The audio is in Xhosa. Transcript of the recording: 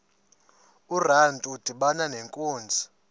urantu udibana nenkunzi